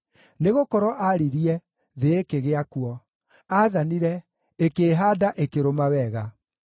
Nĩgũkorwo aaririe, thĩ ĩkĩgĩa kuo; aathanire, ĩkĩĩhaanda, ĩkĩrũma wega.